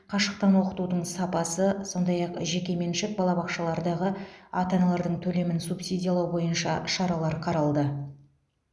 қашықтан оқытудың сапасы сондай ақ жеке меншік балабақшалардағы ата аналардың төлемін субсидиялау бойынша шаралар қаралды